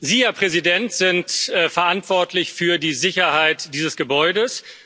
Sie, Herr Präsident, sind verantwortlich für die Sicherheit dieses Gebäudes.